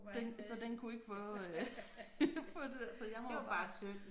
Den så den kunne ikke få øh få det der så jeg må jo